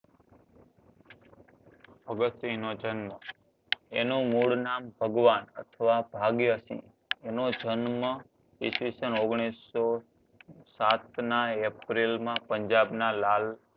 ભગતસિંહ નો જન્મ એનું મૂળ નામ ભગવાન અથવા ભાગ્યશી એનો જન્મ ઈ. સ. ઓગણીસો સાતના એપ્રિલમાં પંજાબમાં ના લાલ